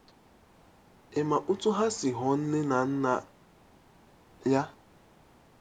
Ị̀ ma otú ha si ghọọ nne na nna ya? -